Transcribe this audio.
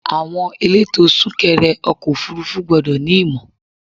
Àwọn elétò sún kẹrẹ ọkọ̀ òfúrúfú gbọ́dọ̀ ní ìmọ̀.